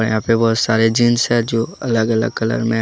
यहाँ पे बहोत सारे जींस है जो अलग अलग कलर में है ।